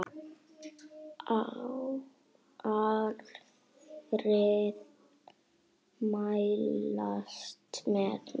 Aðrir mælast með minna.